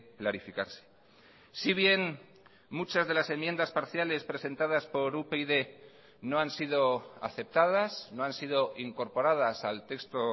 clarificarse si bien muchas de las enmiendas parciales presentadas por upyd no han sido aceptadas no han sido incorporadas al texto